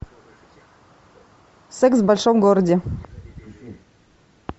секс в большом городе